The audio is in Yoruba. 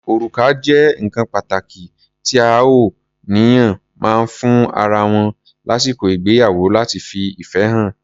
Orùká jẹ́ nǹkan pàtàkí tí àọ ènìyàn máa ń fún ara wọn lásìkò ìgbéyàwó láti fi ìfẹ́ hàn.